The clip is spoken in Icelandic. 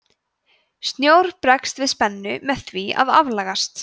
snjór bregst við spennu með því að aflagast